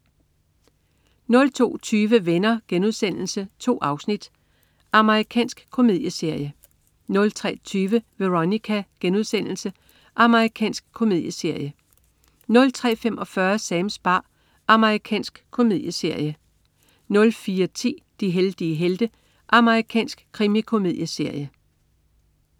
02.20 Venner.* 2 afsnit. Amerikansk komedieserie 03.20 Veronica.* Amerikansk komedieserie 03.45 Sams bar. Amerikansk komedieserie 04.10 De heldige helte. Amerikansk krimikomedieserie